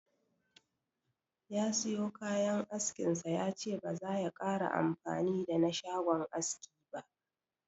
Ya siyo kayan askin sa, yace ba zaya kara amfani da na shagon aski ba.